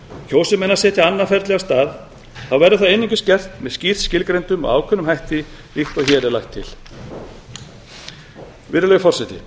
kjósi menn að setja annað ferli af stað verður það einungis gert með skýrt skilgreindum og ákveðnum hætti líkt og hér er lagt til virðulegi forseti